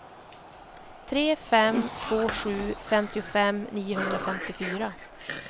tre fem två sju femtiofem niohundrafemtiofyra